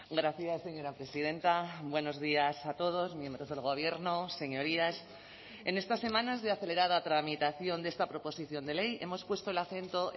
gracias señora presidenta buenos días a todos miembros del gobierno señorías en estas semanas de acelerada tramitación de esta proposición de ley hemos puesto el acento